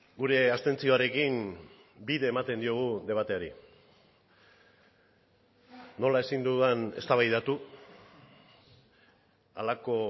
gure abstentzioarekin bide ematen diogu debateari nola ezin dudan eztabaidatu halako